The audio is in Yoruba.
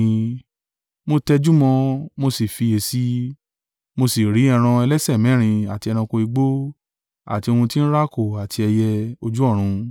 Mo tẹjúmọ́ ọn, mo sì fiyèsí i, mo sí rí ẹran ẹlẹ́sẹ̀ mẹ́rin, àti ẹranko igbó, àti ohun tí ń rákò, àti ẹyẹ ojú ọ̀run.